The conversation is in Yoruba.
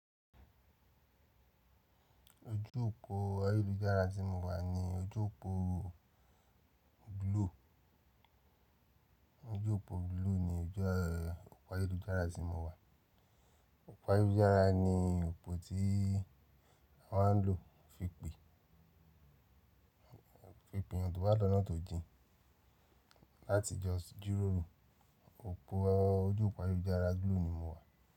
Ojú òpó ayélujára tí mo wà ní ojú òpó Blue. Ojú òpó Blue ní ojú òpó ayélujára tí mo wà. Òpó ayélujára ní òpó tí wọ́n má ń lò fi pe peyan to bawa lọ́nà tó jìn láti jọ̀s jiroro. Ojú òpó ayélujára glo ni mo wà.